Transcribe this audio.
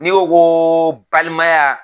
N'i ko ko balimaya